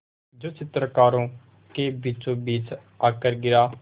जो चित्रकारों के बीचोंबीच आकर गिरा